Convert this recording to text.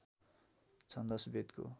छन्दश वेदको